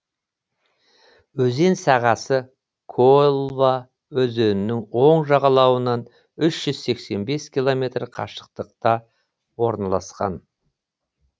өзен сағасы колва өзенінің оң жағалауынан үш жүз сексен бес километр қашықтықта орналасқан